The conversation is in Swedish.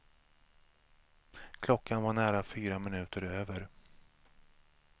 Klockan var nära fyra minuter över.